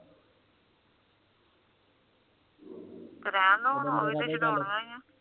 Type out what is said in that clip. ਕਰਾ ਲੋ ਹੁਣ ਓ ਤੇ ਛੁਡੌਣਾ ਹੀ ਆ